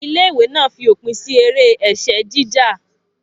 Ilé ìwé náà fi òpin sí eré ẹ̀sẹ́ jíjà